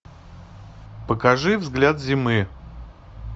покажи взгляд зимы